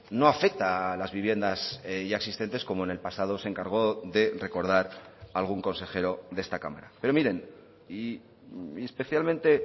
no afecta a las viviendas ya existentes como en el pasado se encargó de recordar algún consejero de esta cámara pero miren y especialmente